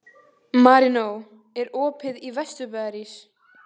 Marínó, er opið í Vesturbæjarís?